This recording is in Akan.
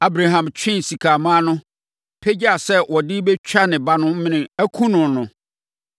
Abraham twee sekammoa no, pagyaa sɛ ɔde rebɛtwa ne ba no mene akum no.